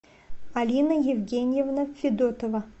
алина евгеньевна федотова